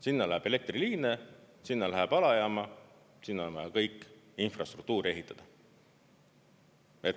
Sinna läheb elektriliine, sinna läheb alajaam, sinna on vaja kõik infrastruktuur ehitada.